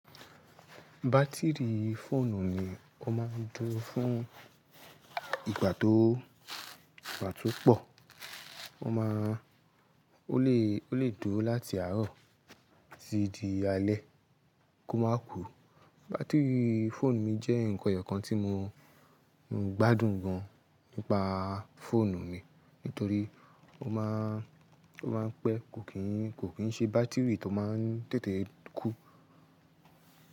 Batiri fóònù mi ó máa ń dúró fún ìgbà tó, ìgbà tó pọ̀. Ó máa ń, ó lè, ó lè dùrò láti àárọ̀ títí di alẹ́ kó máa kú. Batiri fóònù mi jẹ́ nǹkan ẹyọkan tí mo gbádùn gan an nípa fóònù mi nítorí ó máa ń, ó máa ń pẹ́. Kò kìí, kò kìí ṣe bátìrì tó máa ń tètè kú.